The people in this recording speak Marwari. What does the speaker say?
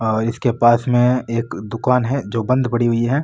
और इसके पास में एक दुकान है जो बंद पड़ी हुई है।